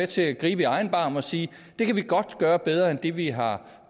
til at gribe i egen barm og sige at det kan vi godt gøre bedre end det vi har